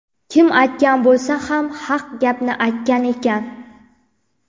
Kim aytgan bo‘lsa ham haq gapni aytgan ekan.